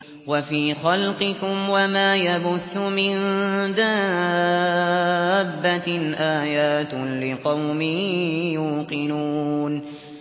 وَفِي خَلْقِكُمْ وَمَا يَبُثُّ مِن دَابَّةٍ آيَاتٌ لِّقَوْمٍ يُوقِنُونَ